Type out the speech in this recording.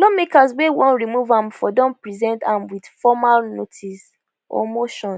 lawmakers wey wan remove am for don present am wit formal notice or motion